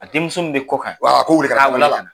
A denmuso min be kokan, a k'o weele kana. a k'a weele kana.